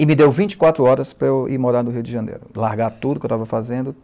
E me deu vinte quatros horas para eu ir morar no Rio de Janeiro, largar tudo que eu estava fazendo.